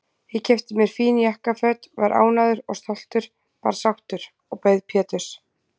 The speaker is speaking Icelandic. Ég keypti mér fín jakkaföt, var ánægður og stoltur, bara sáttur, og beið Péturs.